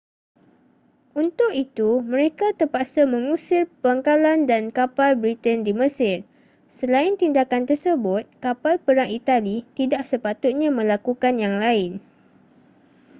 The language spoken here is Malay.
untuk itu mereka terpaksa mengusir pangkalan dan kapal britain di mesir selain tindakan tersebut kapal perang itali tidak sepatutnya melakukan yang lain